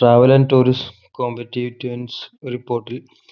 travel and tourism competetancereport ൽ